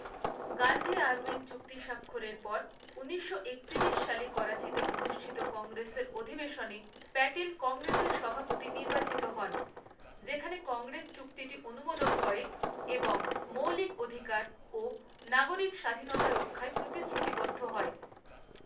Gandhi Irwin চুক্তি স্বাক্ষরের পর, ঊনিশশো একতিরিশ সালে করাচিতে অনুষ্ঠিত কংগ্রেসের অধিবেশনে প্যাটেল কংগ্রেসের সভাপতি নির্বাচিত হন, যেখানে কংগ্রেস চুক্তিটি অনুমোদন করে এবং মৌলিক অধিকার ও নাগরিক স্বাধীনতা রক্ষায় প্রতিশ্রুতিবদ্ধ হয়।